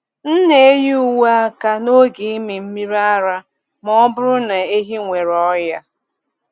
M na-eyi uwe aka n’oge ịmị mmiri ara ma ọ bụrụ na ehi nwere ọnya.